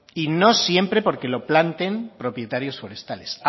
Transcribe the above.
y no siempre porque lo planten propietarios forestales